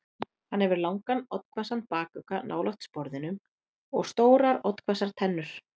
Hann hefur langan, oddhvassan bakugga nálægt sporðinum og stórar oddhvassar tennur.